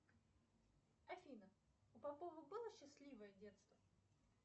афина у попова было счастливое детство